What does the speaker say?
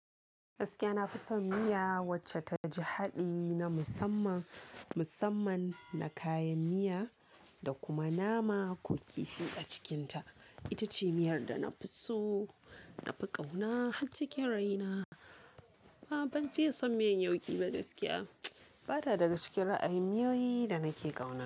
Gaskiya na fi son miya wacce ta ji haɗi na musamman, musamman na kayan miya da kuma nama ko kifi a cikinta. Ita ce miyar da na fi so, na fi ƙauna har cikin raina. A'a ban fiye son miyan yauƙi ba gaskiya ba ta daga cikin ra'ayi miyoyi da nake ƙauna.